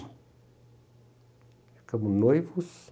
Ficamos noivos.